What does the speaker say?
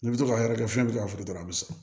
N'i bɛ to ka hakɛ kɛ fiyɛn bɛ ka furu dɔrɔn a bɛ sa